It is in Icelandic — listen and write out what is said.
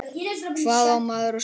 Hvað á maður að segja?